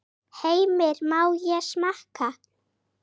Heimir: Má ég smakka?